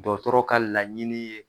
Dɔtɔrɔ ka laɲini ye